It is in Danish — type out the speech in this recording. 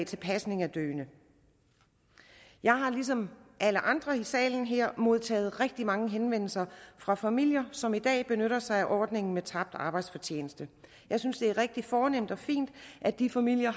til pasning af døende jeg har ligesom alle andre i salen her modtaget rigtig mange henvendelser fra familier som i dag benytter sig af ordningen med tabt arbejdsfortjeneste jeg synes det er rigtig fornemt og fint at de familier